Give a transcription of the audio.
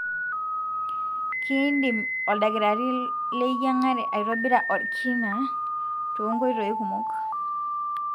kindim oldakitari leyiangare aitobira olkinaa tongoitoi kumok.